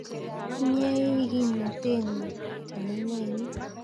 Inye ii kimnatenyu chamanenyu